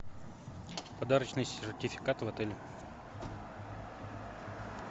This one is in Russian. подарочные сертификаты в отеле